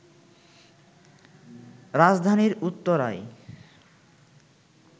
রাজধানীর উত্তরায়